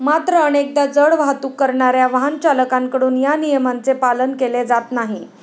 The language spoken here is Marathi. मात्र, अनेकदा जड वाहतूक करणाऱ्या वाहनचालकांकडून या नियमांचे पालन केले जात नाही.